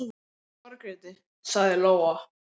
Hann lagði bara ekki í að leita að þeim.